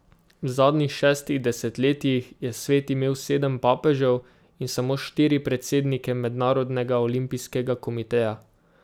V zadnjih šestih desetletjih je svet imel sedem papežev in samo štiri predsednike Mednarodnega olimpijskega komiteja.